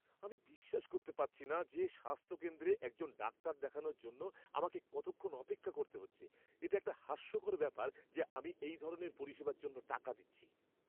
আমি বিশ্বাস করতে পারছি না যে স্বাস্থ্যকেন্দ্রে একজন ডাক্তার দেখানোর জন্য আমাকে কতক্ষণ অপেক্ষা করতে হয়েছে! এটা একটা হাস্যকর ব্যাপার যে আমি এই ধরনের পরিষেবার জন্য টাকা দিচ্ছি!